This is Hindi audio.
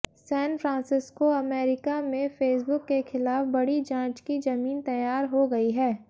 सैन फ्रांसिस्को अमेरिका में फेसबुक के खिलाफ बड़ी जांच की जमीन तैयार हो गई है